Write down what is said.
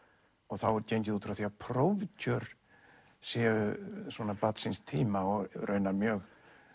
þá er gengið út frá því að prófkjör séu svona barn síns tíma og raunar mjög